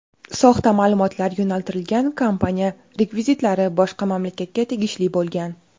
soxta ma’lumotlar yo‘naltirilgan kompaniya rekvizitlari boshqa mamlakatga tegishli bo‘lgan.